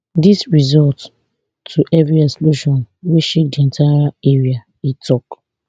dis result to heavy explosion wey shake di entire area e tok